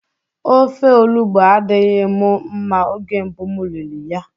Ofe olugbo adịghị mụ mma oge mbụ m riri ya.